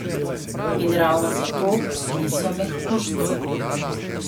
In ravno zato niso mehkužci.